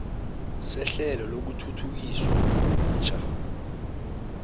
sehlelo lokuthuthukiswa butjha